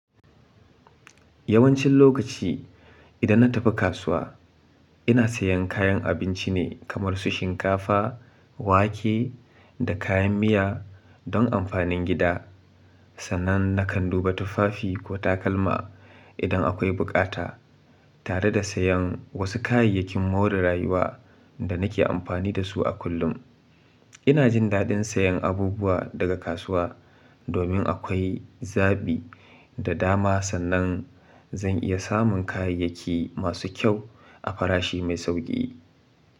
Yawancin lokaci, idan na tafi kasuwa, ina sayen kayan abinci ne kamar su shinkafa, wake, da kayan miya don amfanin gida. Sannan na kan duba tufafi ko takalma idan akwai bukata, tare da sayen wasu kayayyakin more rayuwa da nake amfani da su a kullum. Ina jin daɗin sayan abubuwa daga kasuwa domin akwai zabi da dama, sannan zan iya samun kayayyaki masu kyau a farashi mai sauƙi.